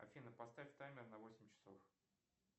афина поставь таймер на восемь часов